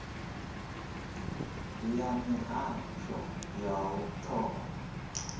ya mihasho ya u thoma